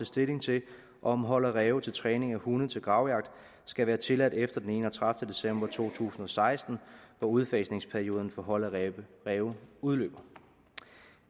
stilling til om hold af ræve til træning af hunde til gravjagt skal være tilladt efter den enogtredivete december to tusind og seksten hvor udfasningsperioden for hold af ræve ræve udløber